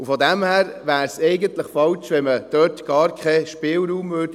Und von daher wäre es eigentlich falsch, wenn man dort gar keinen Spielraum lassen würde.